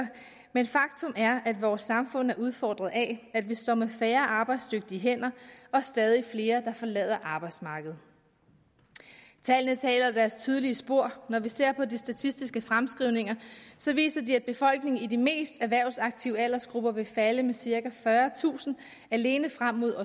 men faktum er at vores samfund er udfordret af at vi står med færre arbejdsdygtige hænder og stadig flere der forlader arbejdsmarkedet tallene taler deres tydelige sprog når vi ser på de statistiske fremskrivninger viser de at befolkningen i de mest erhvervsaktive aldersgrupper vil falde med cirka fyrretusind alene frem mod